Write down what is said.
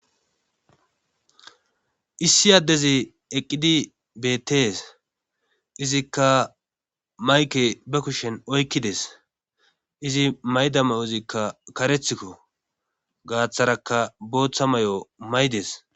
issi addezi eqqidi betees izikka mayke ba kushen oykkides izi mayda mayo izikka karethikko gaaththaraka booththa may7o maydes